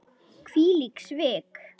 Hvílík svik!